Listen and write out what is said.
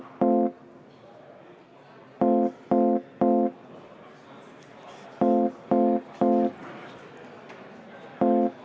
Palun võtta seisukoht ja hääletada!